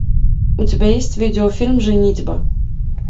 у тебя есть видео фильм женитьба